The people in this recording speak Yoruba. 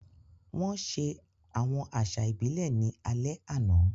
Wọ́n ṣe àwọn àṣà ìbílẹ̀ ní alẹ́ àná.